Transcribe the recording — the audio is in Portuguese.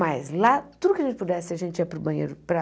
Mas lá, tudo que a gente pudesse, a gente ia para o banheiro para...